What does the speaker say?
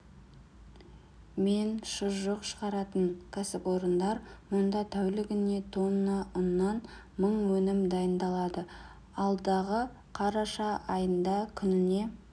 мен шұжық шығаратын кәсіпорындар мұнда тәулігіне тонна ұннан мың өнім дайындалады алдағы қараша айында күніне